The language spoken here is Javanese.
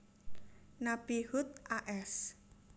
Nabi Hud a s